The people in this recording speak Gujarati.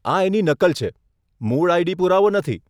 આ એની નકલ છે, મૂળ આઈડી પુરાવો નથી.